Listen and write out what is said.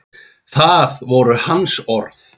Það voru hans orð.